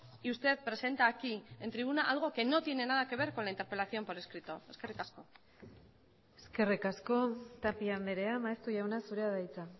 y usted presenta aquí en tribuna algo que no tiene nada que ver con la interpelación por escrito eskerrik asko eskerrik asko tapia andrea maeztu jauna zurea da hitza